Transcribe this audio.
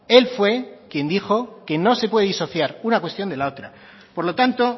él fue quien dijo que no se puede disociar una cuestión de la otra por lo tanto